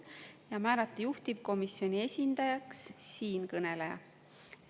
Ja määrata juhtivkomisjoni esindajaks siinkõneleja.